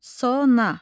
Sona.